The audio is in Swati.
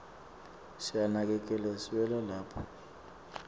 siyanakekela siwela lapha